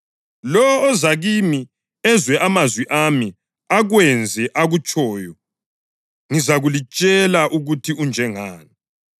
Lowo oza kimi ezwe amazwi ami akwenze akutshoyo, ngizalitshela ukuthi unjengani.